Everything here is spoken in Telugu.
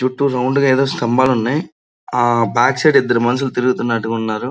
చుట్టూ రౌండ్ గా ఎదో స్థంబాలు ఉన్నాయి ఆ బ్యాక్ సైడ్ ఇద్దరు మనుషులు తిరుగుతున్నటుగా ఉన్నారు.